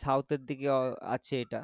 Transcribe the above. south এর দিকে আছে এটা,